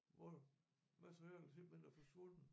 Hvor materialet simpelthen er forsvundet